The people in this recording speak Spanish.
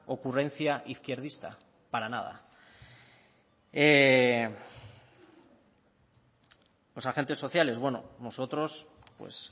ocurrencia izquierdista para nada los agentes sociales bueno nosotros pues